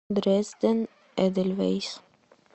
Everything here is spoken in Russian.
дрезден эдельвейс